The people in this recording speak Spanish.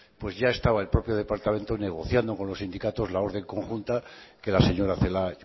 pues ya estaba el propio departamento negociando con los sindicatos la orden conjunta que la señora celaá